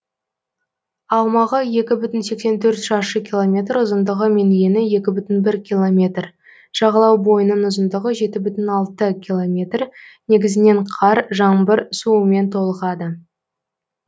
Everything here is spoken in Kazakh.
аумағы екі бүтін сексен төрт шаршы километр ұзындығы мен ені екі бүтін бір километр жағалау бойының ұзындығы жеті бүтін алты километр негізінен қар жаңбыр суымен толығады